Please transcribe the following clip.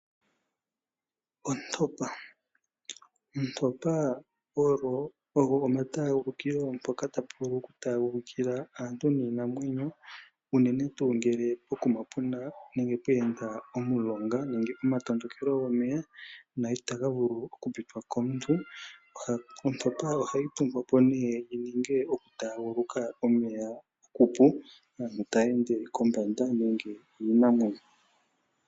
Ontopa! Ontopa oyo omataagulukilo mpoka ta pu vulu oku taagulikila aantu niinamwenyo, uunene tuu ngele pokuma pu na nenge pweenda omulonga nenge omatondokelo gomeya, na ita ga vulu oku pitwa komuntu. Ontopa oha yi tungwa po nee yininge oku taaguluka omeya okupu, aantu ta ya ende kombanda nenge iinamwenyo.